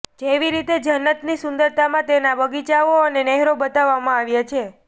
જેવી રીતે જન્નતની સુંદરતામાં તેના બગીચાઓ અને નહેરો બતાવવામાં આવ્યા છે